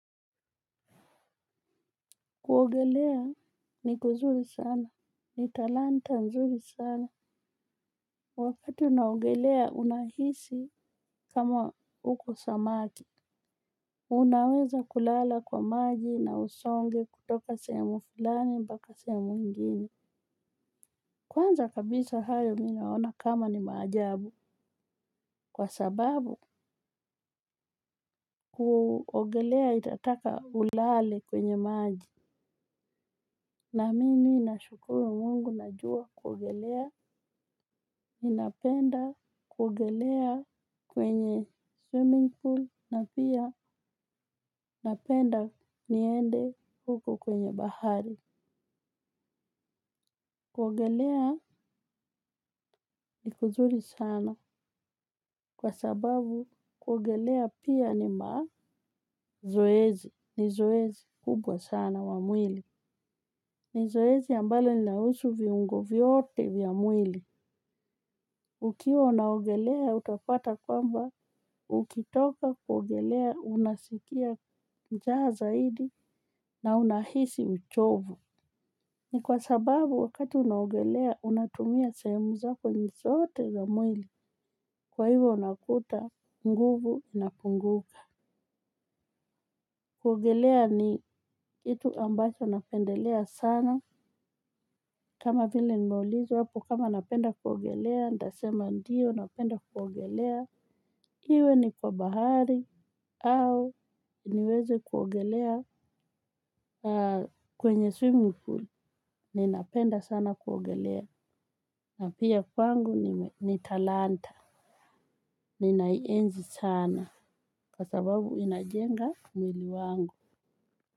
Kuogelea ni kuzuri sana. Ni talanta nzuri sana. Wakati unaogelea unahisi kama uko samaki. Unaweza kulala kwa maji na usonge kutoka sehemu fulani mpaka sehemu ingine. Kwanza kabisa hayo mimi naona kama ni maajabu, kwa sababu kuogelea itataka ulale kwenye maji na mimi nashukuru mungu najua kuogelea ninapenda kuogelea kwenye swimming pool na pia napenda niende huko kwenye bahari. Kuogelea ni kuzuri sana kwa sababu kuogelea pia ni mazoezi ni zoezi kubwa sana wa mwili. Ni zoezi ambalo linahusu viungo vyote vya mwili. Ukiwa unaogelea utapata kwamba, ukitoka kuogelea unasikia njaa zaidi na unahisi uchovu. Ni kwa sababu wakati unaogelea, unatumia sehemu zako zote za mwili. Kwa hivyo unakuta, nguvu inapunguka. Kuogelea ni kitu ambacho napendelea sana. Kama vile nimeulizwa hapo kama napenda kuogelea, nitasema ndio napenda kuogelea. Iwe ni kwa bahari au niweze kuogelea kwenye swimming pool. Ninapenda sana kuogelea. Na pia pangu ni talanta. Ninaienzi sana, kwa sababu ina jenga mwili wangu.